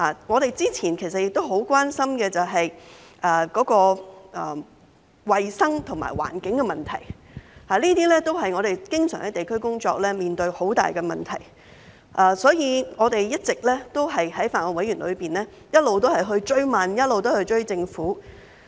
我們早前就很關心衞生和環境的問題，這些都是我們在地區工作上經常面對很大的問題，所以我們在法案委員會不斷追問，一直在追政府。